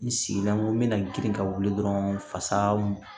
N sigilen n ko n bɛna girin ka wuli dɔrɔn fasa